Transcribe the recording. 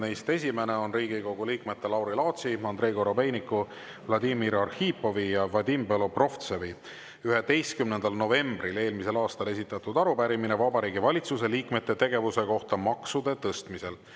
Neist esimene on Riigikogu liikmete Lauri Laatsi, Andrei Korobeiniku, Vladimir Arhipovi ja Vadim Belobrovtsevi 11. novembril eelmisel aastal esitatud arupärimine Vabariigi Valitsuse liikmete tegevuse kohta maksude tõstmisel.